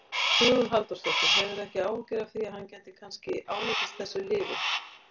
Hugrún Halldórsdóttir: Hefurðu ekki áhyggjur af því að hann gæti kannski ánetjast þessu lyfi?